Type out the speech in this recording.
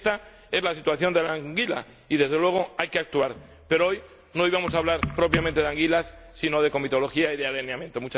Esta es la situación de la anguila y, desde luego, hay que actuar, pero hoy no íbamos a hablar propiamente de anguilas sino de comitología y de alineamiento.